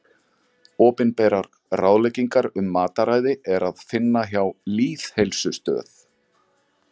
Opinberar ráðleggingar um mataræði er að finna hjá Lýðheilsustöð.